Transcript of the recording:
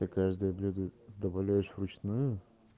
ты каждое блюдо добавляешь в ручную